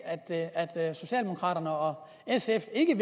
at socialdemokraterne og sf ikke